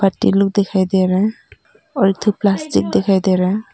लोग दिखाई दे रहा है और एक ठो प्लास्टिक दिखाई दे रहा है।